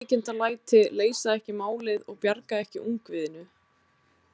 Ólíkindalæti leysa ekki málið og bjarga ekki ungviðinu.